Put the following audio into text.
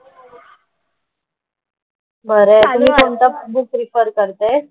बरं आणि कोणतं बुक रेफर करते?